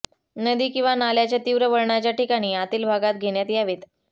नदी किंवा नाल्याच्या तीव्र वळणाच्या ठिकाणी आतील भागात घेण्यात यावेत